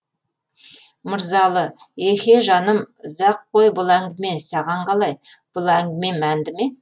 мырзалы еһе жаным ұзақ қой бұл әңгіме саған қалай бұл әңгіме мәнді ме